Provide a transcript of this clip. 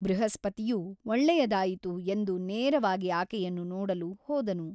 ಬೃಹಸ್ಪತಿಯು ಒಳ್ಳೆಯದಾಯಿತು ಎಂದು ನೇರವಾಗಿ ಆಕೆಯನ್ನು ನೋಡಲು ಹೋದನು.